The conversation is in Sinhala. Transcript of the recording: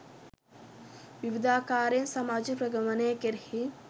විවිධාකාරයෙන් සමාජ ප්‍රගමනය කෙරෙහි